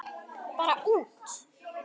Bara út.